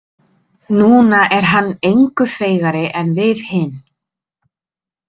Núna er hann engu feigari en við hin.